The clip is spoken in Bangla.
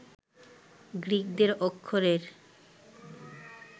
গ্রিকদের অক্ষরের